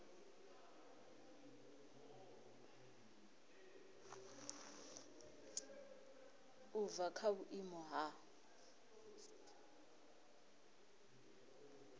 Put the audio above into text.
u bva kha vhuimo ha